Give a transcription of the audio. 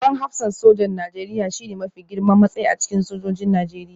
Babban hafsan sojan Najeriya shine mafi girman matsayi a cikin sojojin Najeriya